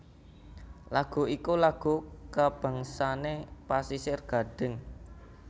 lagu iku lagu kabangsane Pasisir Gadhing